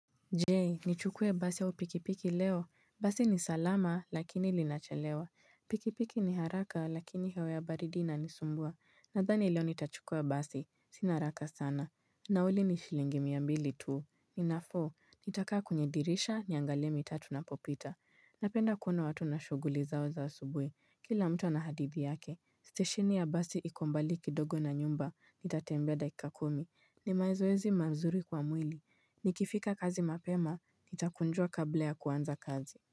Jee, nichukue basi au pikipiki leo. Basi ni salama, lakini lina chelewa. Pikipiki ni haraka, lakini hewa ya baridi ina ni sumbua. Nadhani leo nitachukua basi. Sina haraka sana. Nauli ni shilingi mia mbili tuu. Ninafo, nitakaa kwenye dirisha, niangalie mitaa tunapopita. Napenda kuona watu na shughuli zao za asubui. Kila mtu anahadithi yake. Stesheni ya basi iko mbali kidogo na nyumba. Nitatembea dakika kumi. Ni mazoezi mazuri kwa mwili. Nikifika kazi mapema, nitakonjoa kabla ya kuanza kazi.